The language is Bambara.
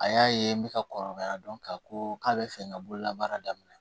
A y'a ye n bɛ ka kɔrɔbaya dɔn k'a ko k'a bɛ fɛ n ka bolola baara daminɛ